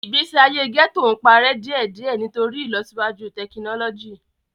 Igbesi aye gẹto n parẹ diẹdiẹ nitori ilosiwaju tekinọlọji.